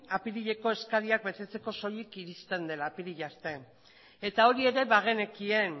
apirileko eskariak betetzeko soilik iristen dela apirila arte eta hori ere bagenekien